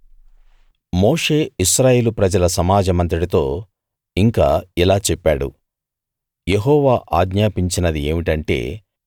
మోషే ఇశ్రాయేలు ప్రజల సమాజమంతటితో ఇంకా ఇలా చెప్పాడు యెహోవా ఆజ్ఞాపించినది ఏమిటంటే